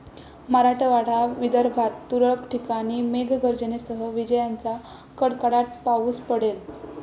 मराठवाडा, विदर्भात तुरळक ठिकाणी मेघगर्जनेसह विजांच्या कडकडाटात पाऊस पडेल.